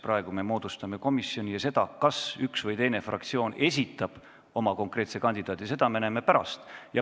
Praegu me moodustame komisjoni ja seda, kas üks või teine fraktsioon esitab oma konkreetse kandidaadi, me näeme pärast.